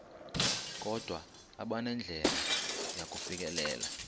kodwa abanandlela yakufikelela